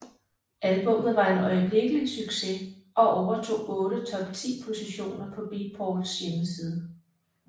Albummet var en øjeblikkelig succes og overtog otte top 10 positioner på Beatports hjemmeside